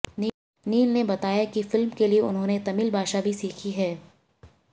नील ने बताया कि फिल्म के लिए उन्होंने तमिल भाषा भी सीखी है